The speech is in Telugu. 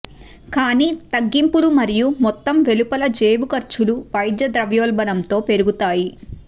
కానీ తగ్గింపులు మరియు మొత్తం వెలుపల జేబు ఖర్చులు వైద్య ద్రవ్యోల్బణంతో పెరుగుతాయి